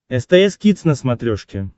стс кидс на смотрешке